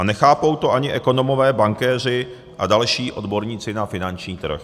A nechápou to ani ekonomové, bankéři a další odborníci na finanční trh.